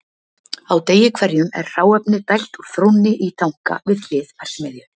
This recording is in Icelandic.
á degi hverjum er hráefni dælt úr þrónni í tanka við hlið verksmiðju